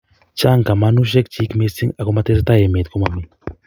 Chang kamanushek chik mising ak matesetai emet komomi